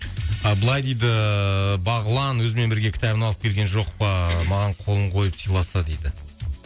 ы былай дейді бағлан өзімен бірге кітабын алып келген жоқ па маған қолын қойып сыйласа дейді